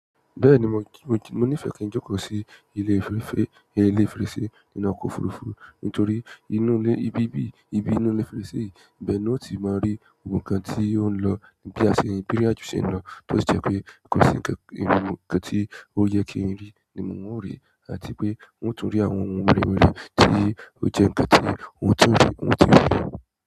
Bẹ́ẹ̀ni, mo níìfẹ̀ kí n jẹ́kọ̀ sí ilé inú ilé fèrèsé nínú ọkọ̀ òfurufú nítorí inú ilé, ibi ibiyi, ibi inú ilé fèrèsé yìí, ibẹ̀ ni yio ti má rí gbogbo ǹkan tí o ń lọ, bí ìrìn àjò ṣe ń lọ, tó jẹ́ pé kò sí ǹkan tí ó yẹ kí n rí, ni un o rí àti pé n ó tún rí àwọn ohun wẹrẹwẹrẹ tí ó jẹ́ ǹkan tí n ó tún rí.